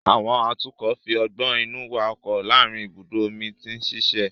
Àwọn atukọ̀ fi ọgbọ́n inú wa ọkọ̀ láàárín ibùdó omi tí ń ṣiṣẹ́